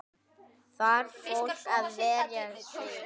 Þarf fólk að vara sig?